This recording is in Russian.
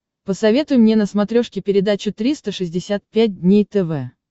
посоветуй мне на смотрешке передачу триста шестьдесят пять дней тв